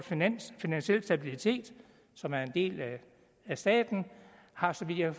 finansiel stabilitet som er en del af staten har så vidt jeg